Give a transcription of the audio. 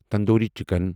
tandoori chicken